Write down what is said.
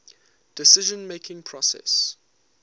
decision making process